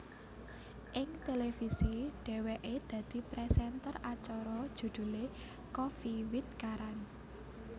Ing televisi dheweké dadi presenter acara judulé Koffee with Karan